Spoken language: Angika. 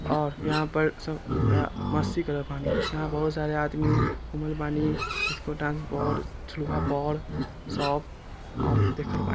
और यहां पर सब अ मस्ती करत बानी यहां बहुत सारा आदमी घुमल बानी झुलवा पर सब अ देखत बानी।